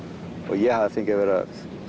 ég hafi fengið að vera